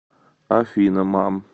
афина мам